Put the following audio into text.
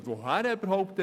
Und wohin überhaupt?